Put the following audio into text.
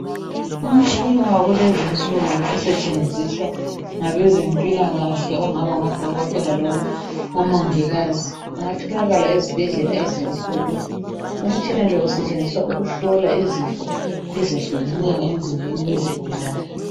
Umtshina wakulezi insuku osetshenziswa ngabezempilakahle okungaba ngodokotela loba omongikazi. Ungatholakala ezibhedlela ezinkulu. Umtshina lo usetshenziswa ukuhlola izifo ezehlukeneyo emzimbeni yezigulane.